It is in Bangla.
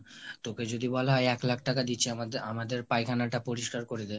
তোকে যদি বলে এক লাখ টাকা দিচ্ছি আমাদের আমাদের পায়খানাটা পরিষ্কার করে দে